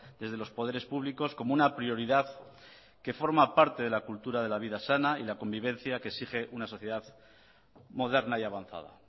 desde los poderes públicos como una prioridad que forma parte de la vida sana y la convivencia que exige una sociedad moderna y avanzada